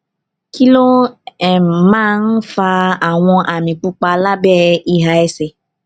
kí ló um máa ń um fa àwọn àmì pupa lábé ìhà ẹsè